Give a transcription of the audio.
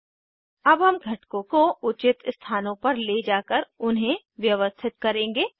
अब हम कंपोनेंट्स को उचित स्थानों पर ले जाकर उन्हें व्यवस्थित करेंगे